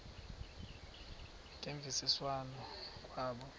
ngemvisiswano r kwabo